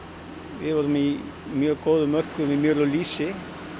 við vorum í mjög góðum mörkuðum með mjöl og lýsi